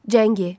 Cəngi.